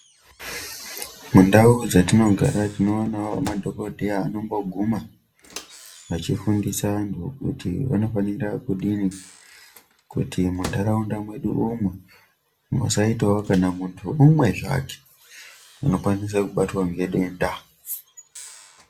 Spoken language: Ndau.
Mundau dzatinogara tinoonawo madhogodheya anomboguma vachifundisa antu kuti vanofanira kudini kuti mundaraunda mwedu umu musaitawo kana muntu umwe zvake unokwanisa kubatwa ngedenda.